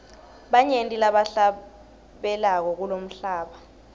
banyenti labahlabelako kulomhlaba